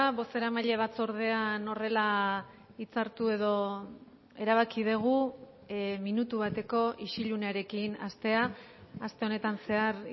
bozeramaile batzordean horrela hitzartu edo erabaki dugu minutu bateko isilunearekin hastea aste honetan zehar